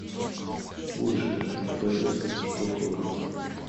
лучшее борис штоколов